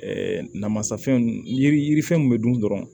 Ɛɛ namasa fɛn yiri yiri yirifɛn mun bɛ dun dɔrɔn